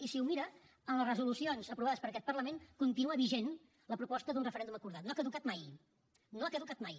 i si ho mira en les resolucions aprovades per aquest parlament continua vigent la proposta d’un referèndum acordat no ha caducat mai no ha caducat mai